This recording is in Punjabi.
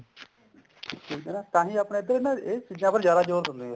ਠੀਕ ਆ ਨਾ ਤਾਂਹੀ ਆਪਣੇ ਇੱਧਰ ਨਾ ਇਹ ਚੀਜ਼ਾਂ ਉੱਪਰ ਜਿਆਦਾ ਜੋਰ ਦਿੰਦੇ ਆ